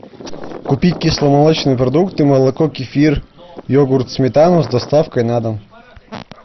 купить кисломолочные продукты молоко кефир йогурт сметану с доставкой на дом